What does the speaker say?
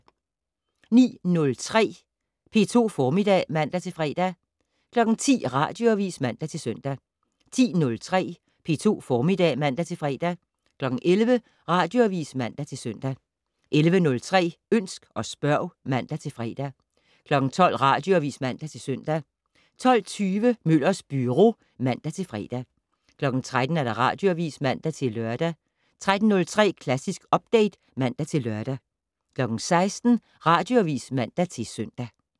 09:03: P2 Formiddag (man-fre) 10:00: Radioavis (man-søn) 10:03: P2 Formiddag (man-fre) 11:00: Radioavis (man-søn) 11:03: Ønsk og spørg (man-fre) 12:00: Radioavis (man-søn) 12:20: Møllers Byro (man-fre) 13:00: Radioavis (man-lør) 13:03: Klassisk Update (man-lør) 16:00: Radioavis (man-søn)